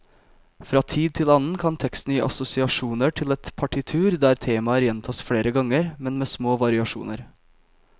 Fra tid til annen kan teksten gi assosiasjoner til et partitur der temaer gjentas flere ganger, men med små variasjoner.